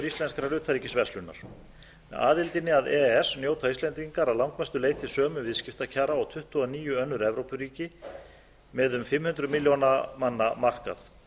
íslenskrar utanríkisverslunar með aðildinni að e e s njóta íslendingar að langmestu leyti sömu viðskiptakjara og tuttugu og níu önnur evrópuríki með um fimm hundruð milljóna manna markað